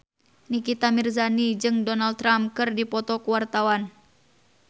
Nikita Mirzani jeung Donald Trump keur dipoto ku wartawan